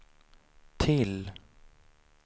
till